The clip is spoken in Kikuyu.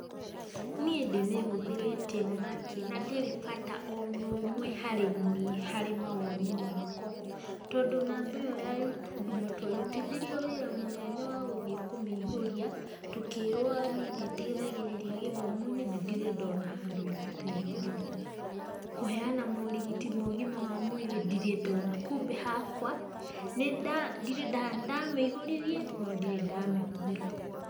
Niĩ ndĩmĩhũthĩrĩte onakĩ na ndĩrĩ bata ona ũmwe harĩ niĩ harĩ mawoni makwa, tondũ namba ĩyo ya Huduma twarutithirio wĩra mũnene wa gũthiĩ kũmĩihũria, tũkĩrwo nĩrĩteithagĩrĩria gĩthomo-inĩ na ndirĩ ndona handũ ĩrateithĩrĩria kũheana morigiti ma ũgima wa mwĩrĩ ndirĩndona kumbe hakwa nĩndamĩihũririe no ndirĩ ndamĩhũthĩra.